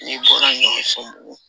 N'i bɔra n'o ye so bugɔ